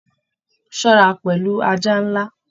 Ṣọra pẹlu ajá nlá!